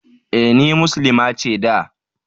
E, ni Muslima ce da.